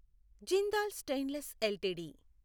Jindal stainless LTD